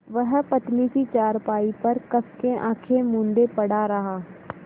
वह पतली सी चारपाई पर कस के आँखें मूँदे पड़ा रहा